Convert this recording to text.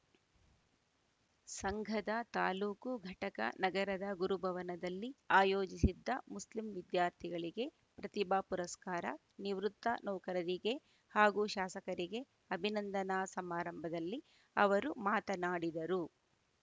ಸಂಘದ ತಾಲೂಕು ಘಟಕ ನಗರದ ಗುರುಭವನದಲ್ಲಿ ಆಯೋಜಿಸಿದ್ದ ಮುಸ್ಲಿಂ ವಿದ್ಯಾರ್ಥಿಗಳಿಗೆ ಪ್ರತಿಭಾ ಪುರಸ್ಕಾರ ನಿವೃತ್ತ ನೌಕರರಿಗೆ ಹಾಗೂ ಶಾಸಕರಿಗೆ ಅಭಿನಂದನಾ ಸಮಾರಂಭದಲ್ಲಿ ಅವರು ಮಾತನಾಡಿದರು